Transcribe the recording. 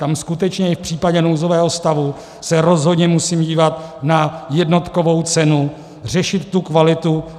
Tam skutečně i v případě nouzového stavu se rozhodně musím dívat na jednotkovou cenu, řešit tu kvalitu.